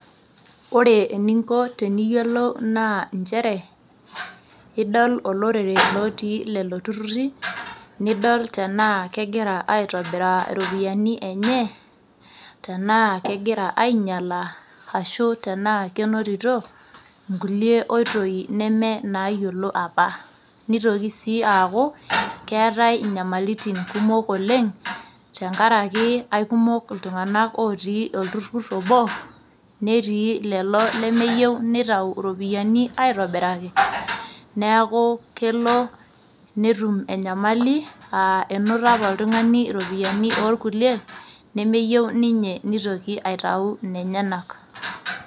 Ore eninko teniyiolou naa nchere , idolo olorere lotii lelo tururi , nidol tenaa kegira aitobiraa iropiyiani enye tenaa kegira ainyialaa ashu tenaa kenotito nkulie oitoi neme inaayiolo apa. Nitoki sii aaaku keetae inyamalaitin kumok oleng tenkaraki aikumok iltunganak otii olturur obo netii lelo lemeyieu nitayu iropiyiani aitobiraki , neeku kelonetum enyamali aa enoto apa oltungani iropiyiani orkulie nemeyieu ninye nitoki aitayu inenyanak .